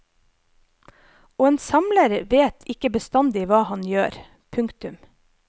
Og en samler vet ikke bestandig hva han gjør. punktum